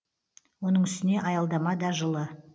оның үстіне аялдама да жылы